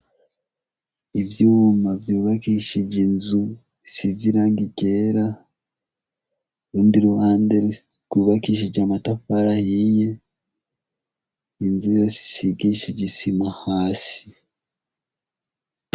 Ivyuma vyubakishije inzu bisize irangi ryera, urundi ruhande rwubakishije amatafari ahiye, inzu yose isigishijwe isima hasi.